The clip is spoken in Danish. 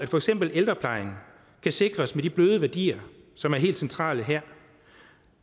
for eksempel ældreplejen sikres de bløde værdier som er helt centrale her